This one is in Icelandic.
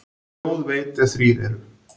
Þjóð veit, ef þrír eru.